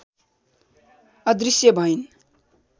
अदृश्य भइन्